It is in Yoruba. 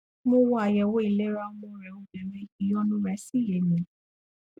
mo wo àyẹwò ìlera ọmọ rẹ obìnrin ìyọnu rẹ sì yé mi